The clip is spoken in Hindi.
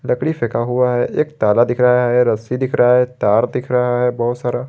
लकड़ी फेंका हुआ है एक ताला दिख रहा है रस्सी दिख रहा है तार दिख रहा है बहुत सारा।